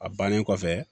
A bannen kɔfɛ